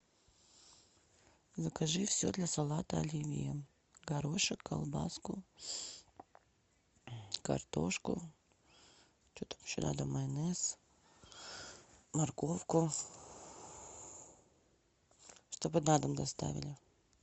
закажи все для салата оливье горошек колбаску картошку что там еще надо майонез морковку чтобы на дом доставили